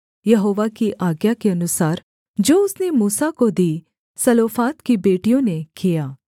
यहोवा की आज्ञा के अनुसार जो उसने मूसा को दी सलोफाद की बेटियों ने किया